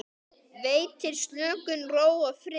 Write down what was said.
Veitir slökun, ró og frið.